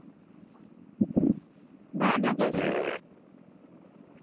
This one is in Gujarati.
ભાવનગર છે!